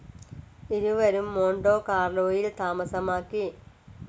ഇരുവരും മോൺടോ കാർലോയിൽ താമസമാക്കി.